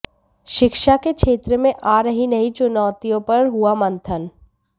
शिक्षा के क्षेत्र में आ रही नई चुनौतियों पर हुआ मंथन